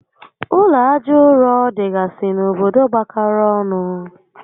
Ụlọ aja ụrọ dịgasị n'obodo gbakọrọ ọnụ